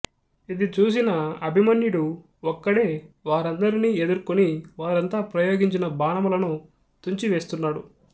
ఇది చూసిన అభిమన్యుడు ఒక్కడే వారినీందరిని ఎదుర్కొని వారంతా ప్రయోగించిన బాణములను తుంచి వేస్తున్నాడు